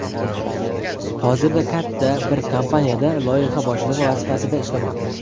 Hozirda katta bir kompaniyada loyiha boshlig‘i vazifasida ishlamoqda.